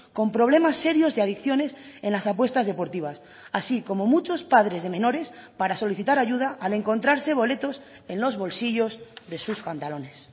con problemas serios de adicciones en las apuestas deportivas así como muchos padres de menores para solicitar ayuda al encontrarse boletos en los bolsillos de sus pantalones